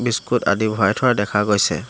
Biscuit আদি ভৰাই থোৱা দেখা গৈছে।